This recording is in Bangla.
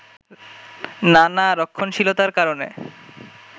নানা রক্ষণশীলতার কারণে